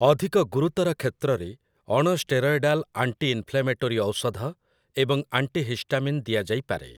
ଅଧିକ ଗୁରୁତର କ୍ଷେତ୍ରରେ, ଅଣଷ୍ଟେରଏଡାଲ୍ ଆଣ୍ଟିଇନ୍‌ଫ୍ଲେମେଟୋରୀ ଔଷଧ ଏବଂ ଆଣ୍ଟିହିଷ୍ଟାମିନ୍ ଦିଆଯାଇପାରେ ।